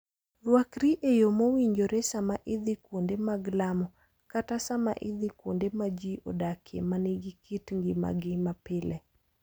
Rwakri e yo mowinjore sama idhi kuonde mag lamo kata sama idhi kuonde ma ji odakie ma nigi kit ngimagi mapile.